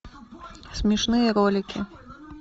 смешные ролики